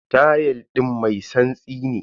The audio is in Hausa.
Tayal din mai tsantsi ne.